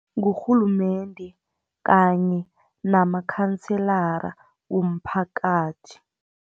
Ngurhulumende, kanye namakhanselara womphakathi.